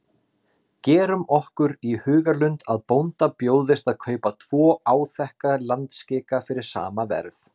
Gerum okkur í hugarlund að bónda bjóðist að kaupa tvo áþekka landskika fyrir sama verð.